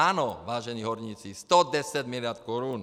Ano, vážení horníci, 110 mld. korun!